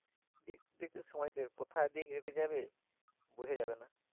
দেখতে দেখতে সময় কোথায় যে কেটে যাবে বুঝা যাবে না